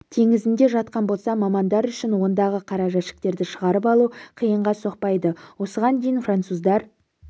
теңізінде жатқан болса мамандар үшін ондағы қара жәшіктерді шығарып алу қиынға соқпайды осыған дейін француздар